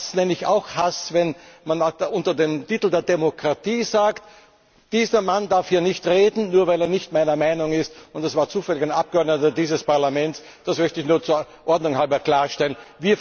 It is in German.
Das nenne ich auch Hass, wenn man unter dem Titel der Demokratie sagt, dieser Mann darf hier nicht reden, nur weil er nicht meiner Meinung ist, und das war zufällig ein Abgeordneter dieses Parlaments, das möchte ich nur der Ordnung halber klarstellen.